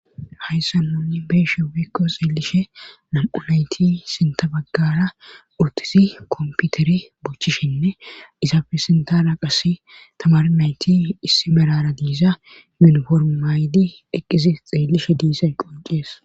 Hayssa munni beeshe wikko xeellishe nam'u nayti sinta baggara urtisi komputeri buchishinne izaafe sintala qass tamar nayti issi merara diisa minoformaaydi eqqisi xeellishe diisan qoncies.